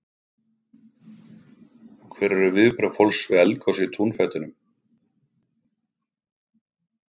Hver eru viðbrögð fólks við eldgosi í túnfætinum?